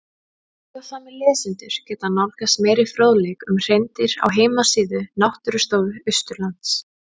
Áhugasamir lesendur geta nálgast meiri fróðleik um hreindýr á heimasíðu Náttúrustofu Austurlands.